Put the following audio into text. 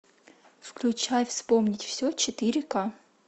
включай вспомнить все четыре ка